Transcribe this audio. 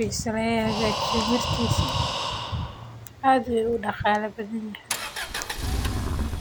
cunooyinka ufican.